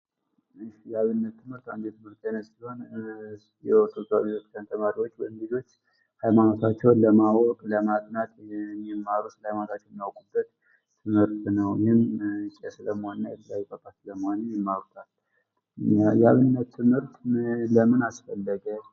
የአብነት ትምህርት አንድ የትምህርት አይነት ሲሆን የቤተክርስቲያን ተማሪዎች ወይም ልጆች ሃይማኖታቸውን ለማወቅ ለማጥናት የሚማሩት ሀይማኖታቸውን የሚያውቁበት ትምህርት ነው ። ይህም ቄስ ለመሆን እና የተለያዩ ጳጳስ ለመሆን የሚማሩበት የአብነት ትምህርት ለምን አስፈለገ?